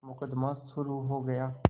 मुकदमा शुरु हो गया